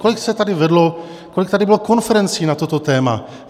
Kolik se tady vedlo, kolik tady bylo konferencí na toto téma?